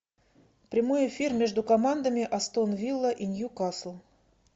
прямой эфир между командами астон вилла и ньюкасл